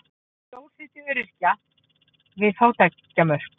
Stór hluti öryrkja við fátæktarmörk